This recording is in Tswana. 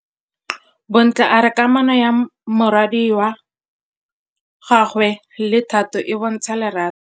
Bontle a re kamanô ya morwadi wa gagwe le Thato e bontsha lerato.